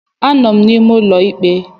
Anọ m n'ime ụlọ ikpe